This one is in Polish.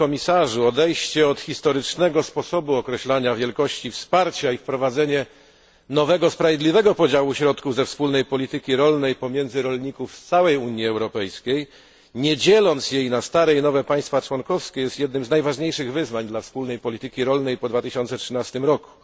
Panie komisarzu! Odejście od historycznego sposobu określania wielkości wsparcia i wprowadzenie nowego, sprawiedliwego podziału środków ze wspólnej polityki rolnej pomiędzy rolników z całej Unii Europejskiej, bez dzielenia jej na stare i nowe państwa członkowskie, jest jednym z najważniejszych wyzwań dla wspólnej polityki rolnej po 2013 roku.